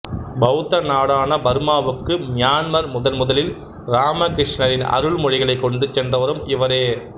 பவுத்த நாடான பர்மாவுக்கு மியான்மர் முதன் முதலில் ராமகிருஷ்ணரின் அருள்மொழிகளைக் கொண்டு சென்றவரும் இவரே